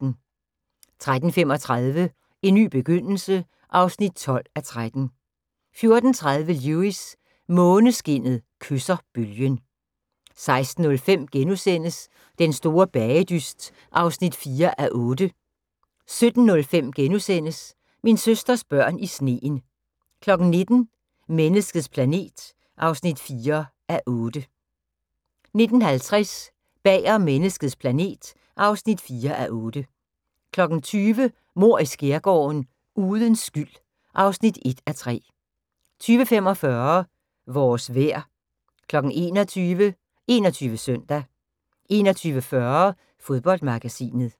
13:35: En ny begyndelse (12:13) 14:30: Lewis: Måneskinnet kysser bølgen 16:05: Den store bagedyst (4:8)* 17:05: Min søsters børn i sneen * 19:00: Menneskets planet (4:8) 19:50: Bag om menneskets planet (4:8) 20:00: Mord i Skærgården: Uden skyld (1:3) 20:45: Vores vejr 21:00: 21 Søndag 21:40: Fodboldmagasinet